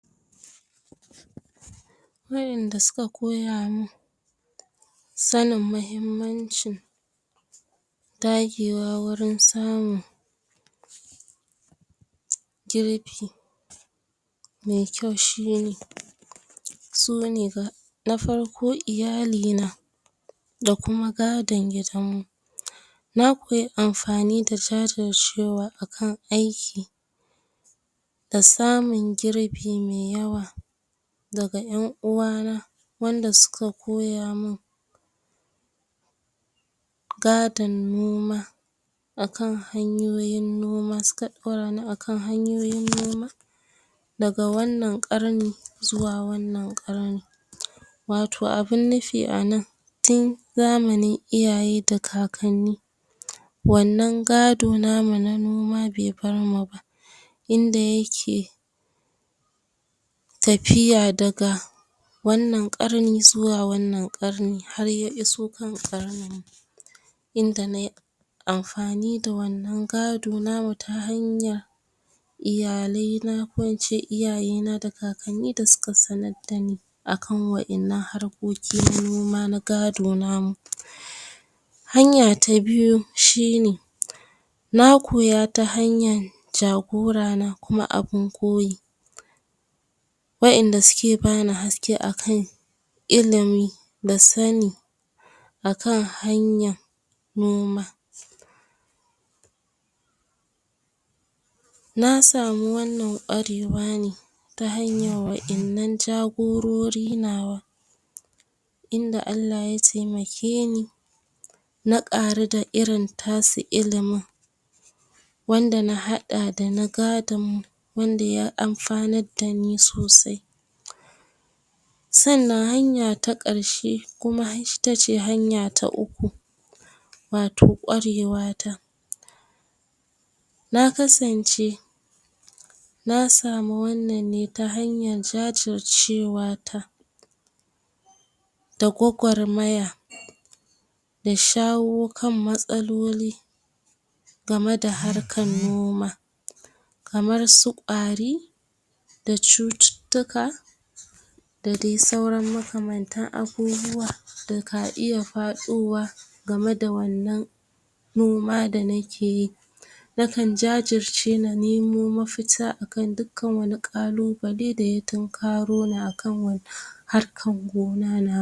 Wa'inda suka koya mun sanin mahimmancin dagewa wurin samun girbi mai kyau shine, su ne: Na farko, iyali na da kuma gadon gidan mu. Na koyi amfani da jajircewa a kan aiki, da samun girbi me yawa daga ƴan uwa na, wanda suka koya mun gadon noma, a kan hanyoyin noma, su ka ɗora ni a kan hanyoyin noma daga wannan ƙarni, zuwa wannan ƙarni. Wato abun nufi a nan, tin zamanin iyaye da kakanni, wannan gado namu na noma bai bar mu ba, inda yake tafiya daga wannan ƙarni zuwa wannan ƙarni, har ya iso kan ƙarnin mu, inda nai amfani da wannan gado namu ta hanya iyalai na, ko in ce ta iyaye da kakanni da suka sanad dani a kan wa'innan harkoki na noma na gado namu. Hanya ta biyu shine, na koya ta hanyan jagora na kuma abun koyi, wa'inda suke bani haske a kan ilimi da sani, a kan hanya noma. Na samu wannan ƙwarewa ne ta hanyan wa'innan jagorori nawa, inda Allah ya taimake ni na ƙaru da irin tasu ilimin, wanda na haɗa da na gadon mu, wanda ya amfanad dani sosai. Sannan hanya ta ƙarshe kuma ita ce hanya ta uku, wato ƙwarewa ta. Na kasance na samu wannan ne ta hanyar jajircewa ta, da gwagwarmaya, da shawo kan matsaloli game da harkan noma. Kamar su ƙwari, da cututtuka, da dai sauran makamantan abubuwa da ka iya faɗowa gama da wannan noma da nakeyi. Na kan jajirce na nemo mafita, a kan dukkan wani ƙalubale da ya tinkaro ni a kan wannan harkan gona na.